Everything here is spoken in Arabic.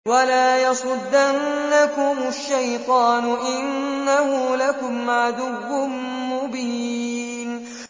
وَلَا يَصُدَّنَّكُمُ الشَّيْطَانُ ۖ إِنَّهُ لَكُمْ عَدُوٌّ مُّبِينٌ